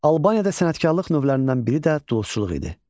Albaniyada sənətkarlıq növlərindən biri də duluzçuluq idi.